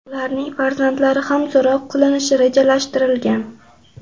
Ularning farzandlari ham so‘roq qilinishi rejalashtirilgan.